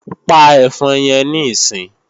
Pa ẹ̀fọn yẹn níìsín!